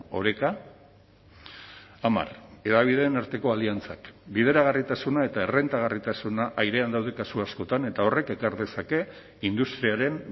oreka hamar hedabideen arteko aliantzak bideragarritasuna eta errentagarritasuna airean daude kasu askotan eta horrek ekar dezake industriaren